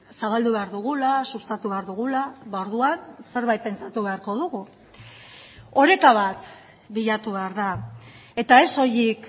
zabaldu behar dugula sustatu behar dugula orduan zerbait pentsatu beharko dugu oreka bat bilatu behar da eta ez soilik